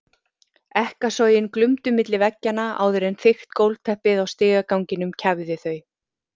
Ekkasogin glumdu milli veggjanna áður en þykkt gólfteppið á stigaganginum kæfði þau.